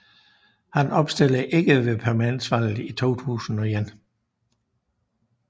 Han genopstillede ikke ved parlamentsvalget i 2001